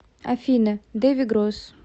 афина дэви гросс